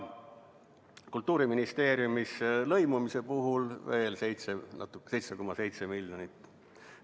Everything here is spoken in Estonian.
Kultuuriministeeriumis on lõimumise jaoks veel 7,7 miljonit.